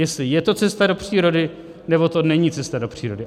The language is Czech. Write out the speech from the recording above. Jestli je to cesta do přírody, nebo to není cesta do přírody.